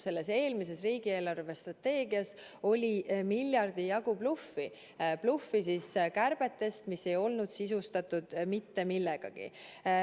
Selles eelmises riigi eelarvestrateegias oli miljardi jagu bluffi kärbetest, mis ei olnud sisustatud mitte millegagi.